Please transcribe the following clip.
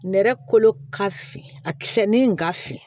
Nɛrɛ kolo ka fin a kisɛ ni ka fin